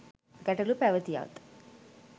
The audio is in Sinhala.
ගැටලු පැවැතියත්